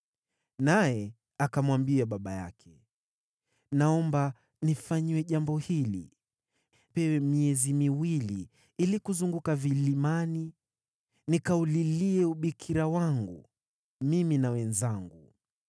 Naye akamwambia baba yake, “Naomba nifanyiwe jambo hili. Nipewe miezi miwili ili kuzunguka vilimani nikaulilie ubikira wangu, mimi na wenzangu.”